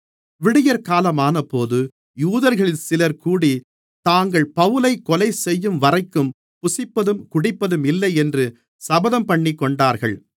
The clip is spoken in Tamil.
விடியற்காலமானபோது யூதர்களில் சிலர் கூடி தாங்கள் பவுலைக் கொலைசெய்யும்வரைக்கும் புசிப்பதும் குடிப்பதுமில்லையென்று சபதம்பண்ணிக்கொண்டார்கள்